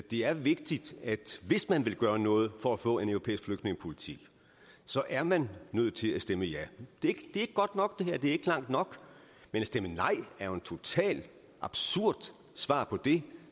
det er vigtigt at hvis man vil gøre noget for at få en europæisk flygtningepolitik så er man nødt til at stemme ja det er ikke godt nok det er ikke langt nok men at stemme nej er jo et totalt absurd svar på det